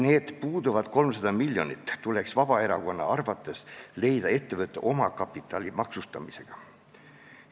Need puuduvad 300 miljonit tuleks Vabaerakonna arvates leida ettevõtte omakapitali maksustamisega.